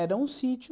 Era um sítio.